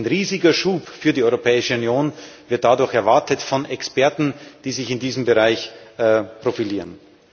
Ein riesiger Schub für die Europäische Union wird dadurch erwartet von Experten, die sich in diesem Bereich profilieren.